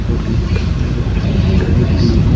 और लिखा हुआ है ड्राई क्लीनर।